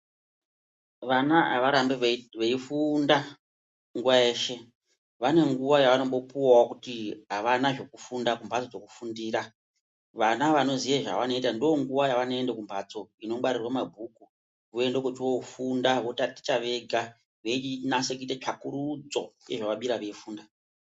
Vana avarambi veifunda nguwa yeshe vane nguwa yavanopuwawo kuti avana zvekufunda kumbatso dzekufundira vana vanoziye zvevanoitando nguwa kumbatso inongwarirwe mabhuku voende kocho funda veinase kuite tsvakurudzo yezvavaswere vei funda.